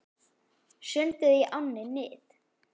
Sundið í ánni Nið